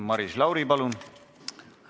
Maris Lauri, palun!